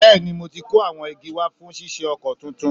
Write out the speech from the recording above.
Bẹ́ẹ̀ni, mo ti kó awọn igi wa fún ṣíṣe ọkọ̀ tuntun